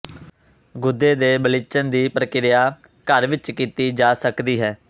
ਗੁਦੇ ਦੇ ਬਲੀਚਣ ਦੀ ਪ੍ਰਕਿਰਿਆ ਘਰ ਵਿਚ ਕੀਤੀ ਜਾ ਸਕਦੀ ਹੈ